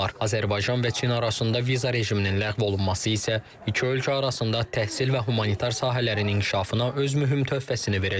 Azərbaycan və Çin arasında viza rejiminin ləğv olunması isə iki ölkə arasında təhsil və humanitar sahələrin inkişafına öz mühüm töhfəsini verəcək.